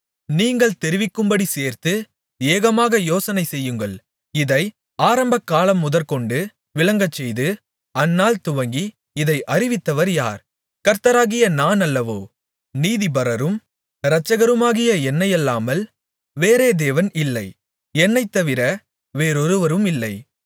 நீங்கள் தெரிவிக்கும்படி சேர்ந்து ஏகமாக யோசனைசெய்யுங்கள் இதை ஆரம்பகாலமுதற்கொண்டு விளங்கச்செய்து அந்நாள் துவங்கி இதை அறிவித்தவர் யார் கர்த்தராகிய நான் அல்லவோ நீதிபரரும் இரட்சகருமாகிய என்னையல்லாமல் வேறே தேவன் இல்லை என்னைத்தவிர வேறொருவரும் இல்லை